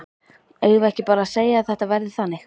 Eigum við ekki bara að segja að þetta verði þannig?